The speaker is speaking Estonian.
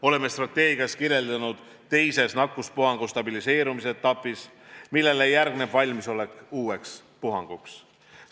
Oleme strateegias kirjeldatud teises ehk nakkuspuhangu stabiliseerumise etapis, millele järgneb valmisolek uueks puhanguks.